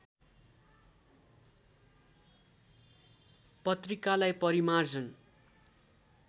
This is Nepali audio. पत्रिकालाई परिमार्जन